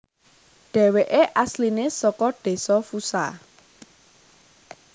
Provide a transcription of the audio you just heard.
Dhéwéké asliné saka Desa Fusha